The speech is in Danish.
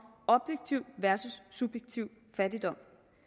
objektiv versus subjektiv fattigdom